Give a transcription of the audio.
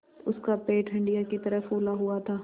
उसका पेट हंडिया की तरह फूला हुआ था